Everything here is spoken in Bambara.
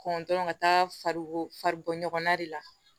Kɔn dɔrɔn ka taa fari bɔ ɲɔgɔnna de la